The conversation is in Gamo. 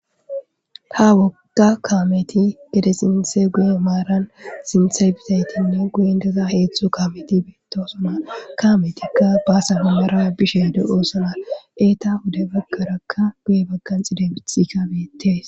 Ha woga kameti gede sinte guye maran sinte bizayitinne guyen dizayiti heedzdzu kameti betosona ha kametika basa guyera bishshe deosona etappe guye bagara adusa mithe betes.